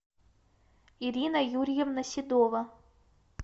ирина юрьевна седова